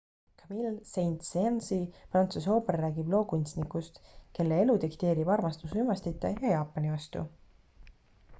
camille saint-saensi prantsuse ooper räägib loo kunstnikust kelle elu dikteerib armastus uimastite ja jaapani vastu